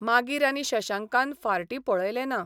मागीर आनी शशांकान फार्टी पळयलें ना.